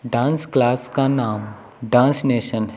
Dance class का नाम dance nation है।